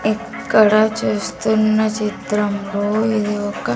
ఇక్కడ చూస్తున్న చిత్రంలో ఇది ఒక--